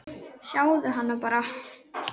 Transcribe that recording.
Sjáðu hana bara!